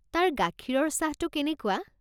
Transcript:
তাৰ গাখীৰৰ চাহটো কেনেকুৱা?